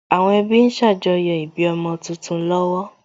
Àwọn ẹbí ń ṣàjọyọ̀ ìbí ọmọ tuntun lọ́wọ́